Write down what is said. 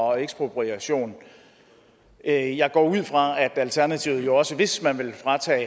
og ekspropriation jeg jeg går ud fra at alternativet jo hvis man vil fratage